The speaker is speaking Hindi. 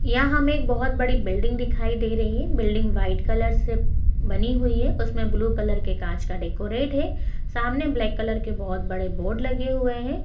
यहां हमे एक बहुत बड़ी बिल्डिंग दिखाई दे रही है बिल्डिंग व्हाइट कलर से बनी हुई है उसमे ब्लू कलर के कांच का डेकोरेट है सामने ब्लैक कलर के बहुत बड़े बोर्ड लगे हुए है।